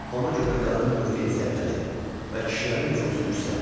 Ona görə də qadının mövqeyi zəiflədi və kişilərin nüfuzu yüksəldi.